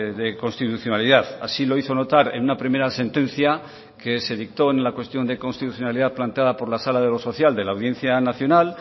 de constitucionalidad así lo hizo notar en una primera sentencia que se dictó en la cuestión de constitucionalidad planteada por la sala de lo social de la audiencia nacional